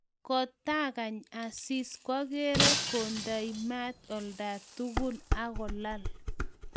Kitangany Asisi kokerei kondei mat olatugul akolal